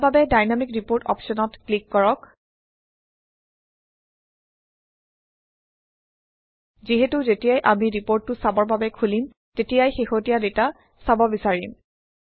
ইয়াৰ বাবে dynamic report অপশ্যনত click কৰক যিহেতু যেতিয়াই আমি ৰিপৰ্টটো চাবৰ বাবে খুলিম তেতিয়াই শেহতীয়া ডাটা চাব বিচাৰিম